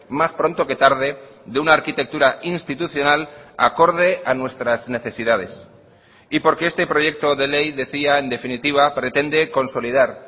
más pronto que tarde de una arquitectura institucional acorde a nuestras necesidades y porque este proyecto de ley decía en definitiva pretende consolidar